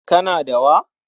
Kana da wa?